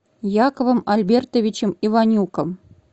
яковом альбертовичем иванюком